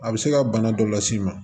A bɛ se ka bana dɔ las'i ma